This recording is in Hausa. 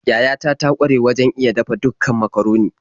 Yayata ta ƙware wajen iya dafa-dukan macaroni.